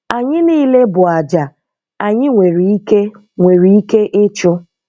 Anyị niile bụ àjà anyị nwere ike nwere ike ịchụ.